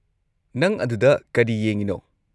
ꯅꯪ ꯑꯗꯨꯗ ꯀꯔꯤ ꯌꯦꯡꯉꯤꯅꯣ?